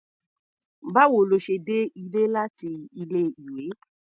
Báwo lo ṣe dé ilé láti ilé-ìwé?